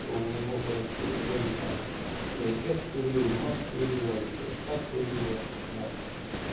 то у него короче у боди там и отец курил и мать курила и сестра курила да